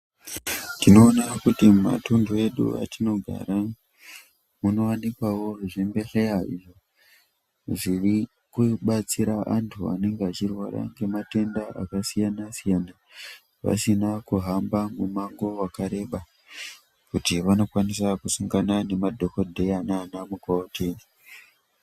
Tinoona kuti mumatundu edu atinogara munowanikwawo zvimbehleya zvirikubatsira antu anenge achirwara ngematenda akasiyana siyana pasina kuhamba mumango wakareba kuti vanokwanisa kusangana nemadhokodheya nana mukoti.